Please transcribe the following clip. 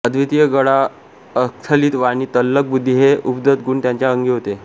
अद्वितीय गळा अस्खलित वाणी तल्लख बुद्धी हे उपजत गुण त्यांच्या अंगी होते